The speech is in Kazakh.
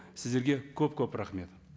сіздерге көп көп рахмет